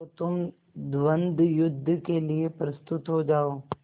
तो तुम द्वंद्वयुद्ध के लिए प्रस्तुत हो जाओ